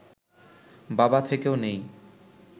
বাবা থেকেও নেই